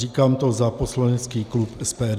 Říkám to za poslanecký klub SPD.